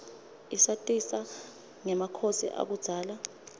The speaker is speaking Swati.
isatisa rgemakhosi akubzala